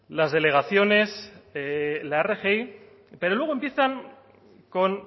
las delegaciones la rgi pero luego empiezan con